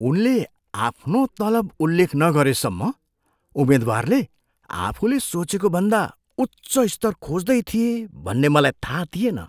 उनले आफ्नो तलब उल्लेख नगरेसम्म उम्मेद्वारले आफूले सोचेको भन्दा उच्च स्तर खोज्दै थिए भन्ने मलाई थाहा थिएन।